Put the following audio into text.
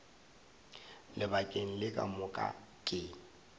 lebakeng le ka moka ke